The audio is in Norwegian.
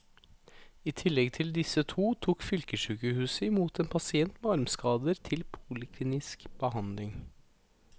I tillegg til disse to tok fylkessykehuset i mot en pasient med armskader til poliklinisk behandling.